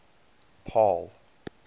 paarl